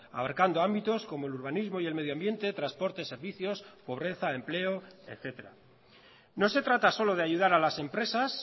abarcando ámbitos como el urbanismo y el medioambiente transporte servicios pobreza empleo etcétera no se trata solo de ayudar a las empresas